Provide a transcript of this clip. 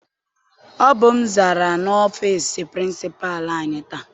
Ọ bụ m zara n'ọfịịsi pirincipalu anyị taa.